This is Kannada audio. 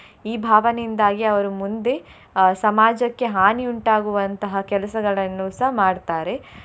ಈ ಭಾವನೆಯಿಂದಾಗಿ ಅವ್ರು ಮುಂದೆ ಅಹ್ ಸಮಾಜಕ್ಕೆ ಹಾನಿ ಉಂಟಾಗುವಂತಹ ಕೆಲಸಗಳನ್ನು ಸಹ ಮಾಡ್ತಾರೆ.